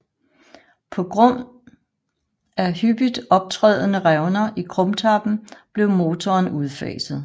På grund af hyppigt optrædende revner i krumtappen blev motoren udfaset